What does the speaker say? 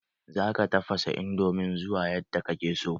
Za ka taffasa indomin zuwa yadda ka ke so